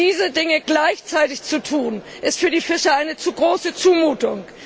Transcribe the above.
Diese Dinge gleichzeitig zu tun, ist für die Fischer eine zu große Zumutung.